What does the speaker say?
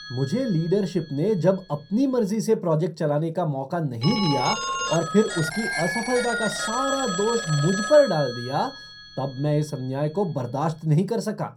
मुझे लीडरशिप ने जब अपनी मर्ज़ी से प्रोजेक्ट चलाने का मौका नहीं दिया और फिर उसकी असफलता का सारा दोष मुझ पर डाल दिया तब मैं इस अन्याय को बर्दाश्त नहीं कर सका।